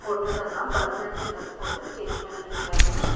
பொண்ணுங்க எல்லா பரதநாட்டிய டிரஸ் போட்டு ஸ்டேஜ் மேல நிக்கிறாங்க.